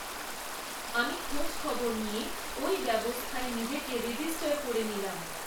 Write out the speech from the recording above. আমি খোঁজখবর নিয়ে ওই ব্যবস্থায় নিজেকে রেজিস্টার করে নিলাম।